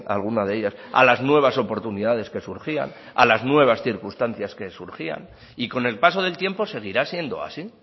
alguna de ellas a las nuevas oportunidades que surgían a las nuevas circunstancias que surgían y con el paso del tiempo seguirá siendo así